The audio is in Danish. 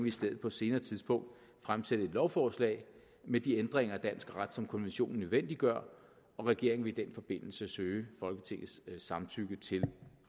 i stedet på et senere tidspunkt fremsætte et lovforslag med de ændringer af dansk ret som konventionen nødvendiggør og regeringen vil i den forbindelse søge folketingets samtykke til